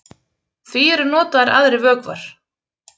Því eru notaðir aðrir vökvar.